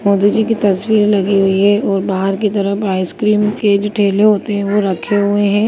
मोदी जी की तस्वीर लगी हुई है और बाहर की तरफ आइसक्रीम के भी ठेले होते हैं वो रखे हुए हैं।